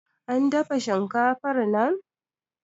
an dafa shinkafar nan